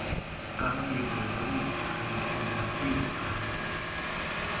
abangezizo iibhanki nakwiibhanki